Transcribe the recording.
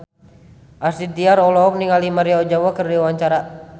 Astrid Tiar olohok ningali Maria Ozawa keur diwawancara